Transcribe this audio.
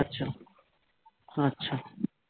আচ্ছা আচ্ছা